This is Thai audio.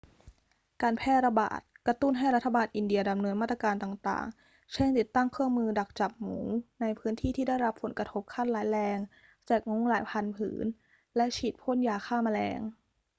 การแพร่ระบาดกระตุ้นให้รัฐบาลอินเดียดำเนินมาตรการต่าง ๆ เช่น ติดตั้งเครื่องมือดักจับหมูในพื้นที่ที่ได้รับผลกระทบขั้นร้ายแรง แจกมุ้งหลายพันผืน และฉีดพ่นยาฆ่าแมลง